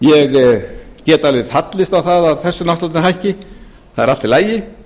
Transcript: ég get alveg fallist á það að persónuafsláttur hækki það er allt í lagi